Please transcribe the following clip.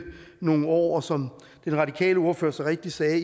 nogle år og som den radikale ordfører så rigtigt sagde